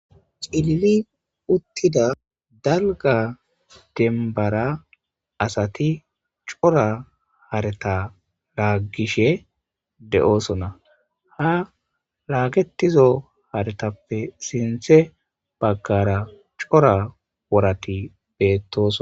xilili uttida dalga denbara asati cora hareta laaggishe de7osona ha laagetizo haretappe sinthe baggara cora worati bettoso